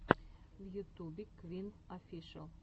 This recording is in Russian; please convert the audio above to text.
в ютубе квин офишел